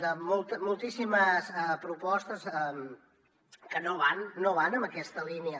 de moltíssimes propostes que no van en aquesta línia